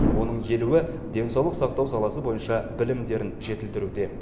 оның елуі денсаулық сақтау саласы бойынша білімдерін жетілдіруде